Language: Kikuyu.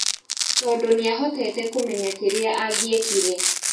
Tondũ nĩahotete kũmenya kĩrĩa angiekire.